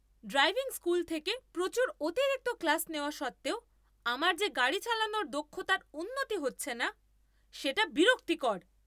Driving school থেকে প্রচুর অতিরিক্ত ক্লাস নেওয়া সত্ত্বেও আমার যে গাড়ি চালানোর দক্ষতার উন্নতি হচ্ছে না সেটা বিরক্তিকর।